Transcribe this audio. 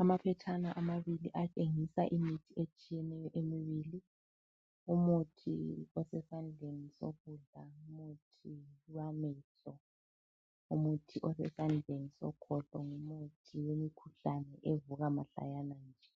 Amaphetshane amabili atshengisa imuthi etshiyeneyo emibili. Umuthi osesandleni sokudla, ngumuthi wamehlo. Umuthi osesandleni sokhohlo ngumuthi wemikhuhlane evuka mahlayana nje.